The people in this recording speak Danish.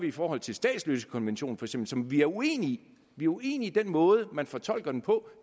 i forhold til statsløsekonventionen som som vi er uenige i vi er uenige i den måde man fortolker den på